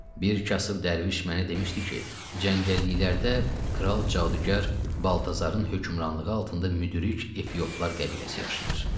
Bir kasıb dərviş mənə demişdi ki, cəngəlliklərdə kral cadugar Baltazarın hökmranlığı altında müdrik etyoplar qəbiləsi yaşayır.